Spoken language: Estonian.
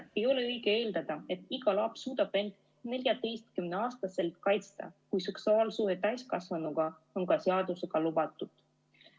Ei ole õige eeldada, et iga laps suudab end 14-aastaselt kaitsta, kui seksuaalsuhe täiskasvanuga on ka seadusega lubatud.